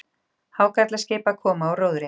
Hákarlaskip- að koma úr róðri.